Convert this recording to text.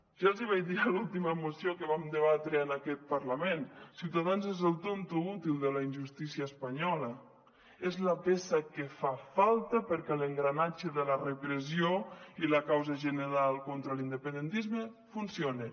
ja els hi vaig dir a l’última moció que vam debatre en aquest parlament ciutadans és el tonto útil de la injustícia espanyola és la peça que fa falta perquè l’engranatge de la repressió i la causa general contra l’independentisme funcione